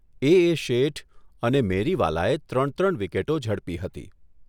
એ એ શેઠ અને મેરીવાલાએ ત્રણ ત્રણ વિકેટો ઝડપી હતી.